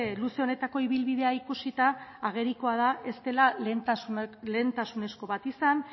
luze honetako ibilbidea ikusita agerikoa da ez dela lehentasunezko bat izan